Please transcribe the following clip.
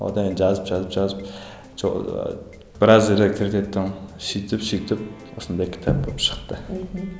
одан кейін жазып жазып жазып сөйтіп сөйтіп осындай кітап болып шықты мхм